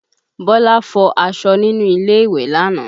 Bọ́lá fọ aṣọ nínú ilé ìwẹ̀ lánàá